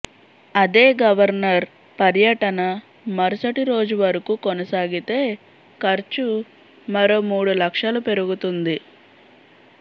అదే గవర్నర్ పర్యటన మరుసటి రోజు వరకు కొనసాగితే ఖర్చు మరో మూడు లక్షలు పెరుగుతుంది